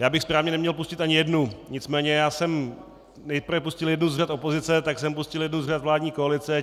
Já bych správně neměl pustit ani jednu, nicméně já jsem nejprve pustil jednu z řad opozice, pak jsem pustil jednu z řad vládní koalice.